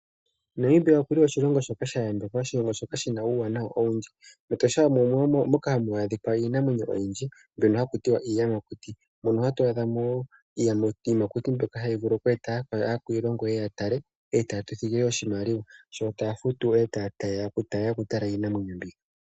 Namibia okuli oshilongo shoka sha yambekwa oshilongo shoka shina uuwanawa owundji . MEtosha omo hamu adhika iinamwenyo oyindji, mbyono haku tiwa iiyamakuti mono hatu adhamo iiyamakuti mbyoka hayi vulu oku eta akwiilongo yeye yatale e taatu thigile oshimaliwa sho taafutu e ta yeya oku tala iinamwenyo mbi.